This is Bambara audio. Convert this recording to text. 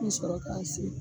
N mi sɔrɔ k'a se